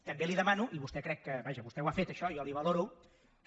també li demano i vostè crec que vaja vostè ho ha fet això i jo li ho valoro que